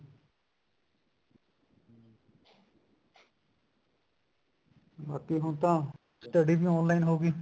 ਬਾਕੀ ਹੁਣ ਤਾਂ study ਵੀ online ਹੋ ਗਈ